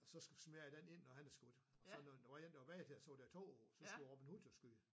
Og så smed jeg den ind når han havde skudt og så når der var bag til og så var der 2 og så skulle Robin Hood jo skyde